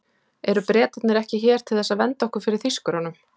Eru Bretarnir ekki hér til þess að vernda okkur fyrir Þýskurunum?